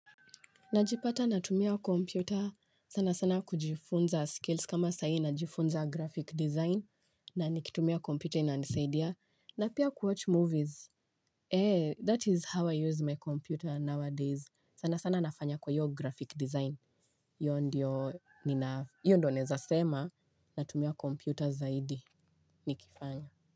Najipata natumia kompyuta sana sana kujifunza skills kama sahii najifunza graphic design na nikitumia kompyuta inanisaidia, na pia kuwatch movies. Eee, that is how I use my computer nowadays. Sana sana nafanya kwa hiyo graphic design. Hiyo ndio nina, hiyo ndio naeza sema, natumia kompyuta zaidi nikifanya.